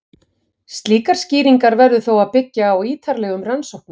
Slíkar skýringar verður þó að byggja á ítarlegum rannsóknum.